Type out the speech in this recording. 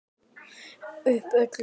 Öllum opið.